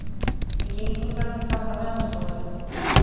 Við gengum framhjá gamla menntaskólanum